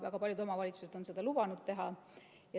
Väga paljud omavalitsused on seda lubanud teha.